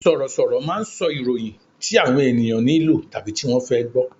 Sọ̀rọ̀ sọ̀rọ̀ máà ń sọ ìròyìn tí àwọn ènìyàn nílò tàbí tí wọ́n fẹ́ gbọ